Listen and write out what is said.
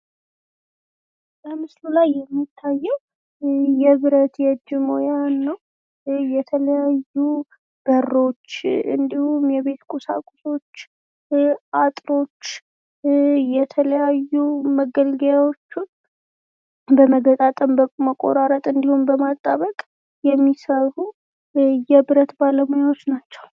በምስሉ ላይ የሚታየው የብረት የእጅ የተለያዩ በሮች እንዲሁም የቤት ቁሳቁሶች አጥሮች የተለያዩ መገልገያዎቹን በመገጣጠም በመቆራረጥ እንዲሁም በማጣበቅ የሚሰሩ የብረት ባለሙያዎች ናቸው።